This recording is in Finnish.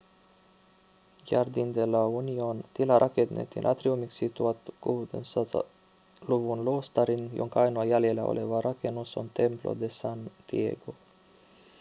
jardín de la unión. tila rakennettiin atriumiksi 1600-luvun luostariin jonka ainoa jäljellä oleva rakennus on templo de san diego